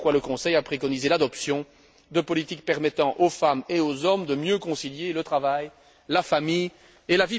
C'est pourquoi le Conseil a préconisé l'adoption de politiques permettant aux femmes et aux hommes de mieux concilier le travail, la famille et la vie privée.